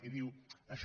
i diu això